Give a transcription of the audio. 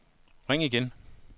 ring igen